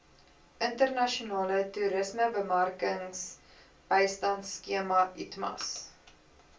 internasionale toerismebemarkingsbystandskema itmas